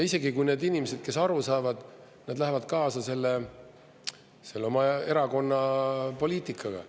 Isegi kui need inimesed aru saavad, nad lähevad kaasa selle oma erakonna poliitikaga.